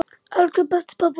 Elsku besti pabbi okkar.